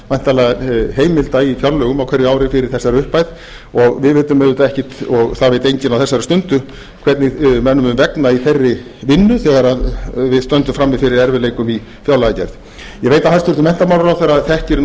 væntanlega heimilda í fjárlögum á hverju ári fyrir þessari upphæð og það veit enginn á þessari stundu hvernig mönnum mun vegna í þeirri vinnu þegar við stöndum frammi fyrir erfiðleikum í fjárlagagerð ég veit að hæstvirtur menntamálaráðherra